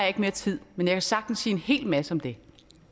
ikke mere tid men jeg kan sagtens sige en hel masse om det